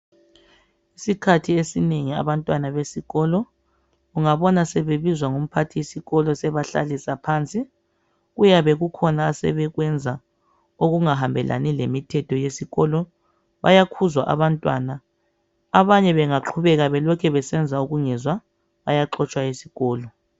Isikhathi esinengi abantwana besikolo ungabona sebebizwa ngumphathisikolo ebahlalisa phansi kuyabe kukhona asebekwenza okungahambelani lemithetho yesikolo. Bayakhuzwa abantwana. Abanye bengaqhubeka belokhe besenza ukungezwa bayaxotshwa esikolo.